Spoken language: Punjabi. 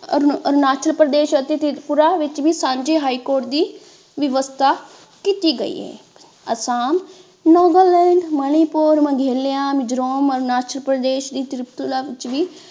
ਅਰੁਣਾਚਲ ਪ੍ਰਦੇਸ਼ ਅਤੇ ਤ੍ਰਿਪੁਰਾ ਵਿੱਚ ਵੀ ਸਾਂਝੀ ਹਾਈ ਕੋਰਟ ਦੀ ਵਿਵਸਥਾ ਕੀਤੀ ਗਈ ਹੈ ਅਸਾਮ ਨਾਗਾਲੈਂਡ ਮਨੀਪੁਰ ਮੇਘਾਲਿਆ, ਮਿਜ਼ੋਰਮ, ਅਰੁਣਾਚਲ ਪ੍ਰਦੇਸ਼ ਤ੍ਰਿਪੁਰਾ ਵਿੱਚ ਵੀ।